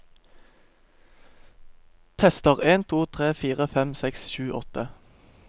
Tester en to tre fire fem seks sju åtte